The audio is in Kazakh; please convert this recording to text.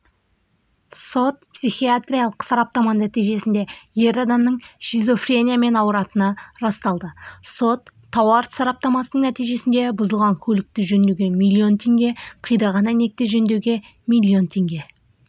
сот-психиатриялық сараптама нәтижесінде ер адамның шизофрениямен ауыратыны расталды сот-тауар сараптамасының нәтижесінде бұзылған көлікті жөндеуге миллион теңге қираған әйнекті жөндеуге миллион теңге